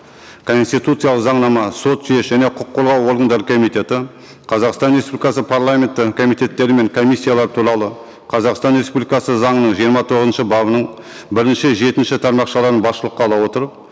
конституциялық заңнама сот жүйесі және құқық қорғау органдары комитеті қазақстан республикасы парламенті комитеттері мен комиссиялары туралы қазақстан республикасы заңының жиырма тоғызыншы бабының бірінші жетінші тармақшаларын басшылыққа ала отырып